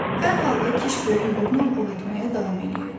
Hər halda Kiş böyük uğurla ov etməyə davam eləyirdi.